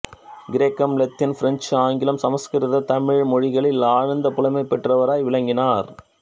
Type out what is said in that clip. கிரேக்கம் இலத்தீன் பிரெஞ்சு ஆங்கிலம் சமஸ்கிருத தமிழ் மொழிகளில் ஆழ்ந்த புலமை பெற்றவராய் விளங்கினார்